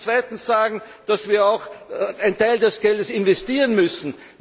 Wir müssen zweitens sagen, dass wir auch einen Teil des Geldes investieren müssen.